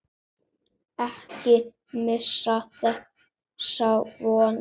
Ekki missa þessa von.